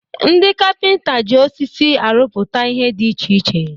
Ndị kapịnta ji osisi arụpụta ihe dị iche iche